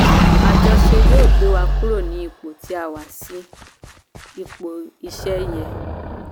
Àjọṣe yóò gbé wa kúrò ní ipò tí a wà sí ipò iṣẹ́ yẹn